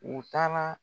U taara